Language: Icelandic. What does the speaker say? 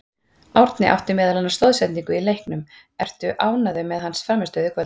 Árni átti meðal annars stoðsendingu í leiknum, ertu ánægður með hans frammistöðu í kvöld?